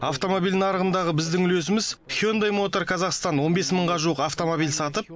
автомобиль нарығындағы біздің үлесіміз хёндэ мотор казахстан он бес мыңға жуық автомобиль сатып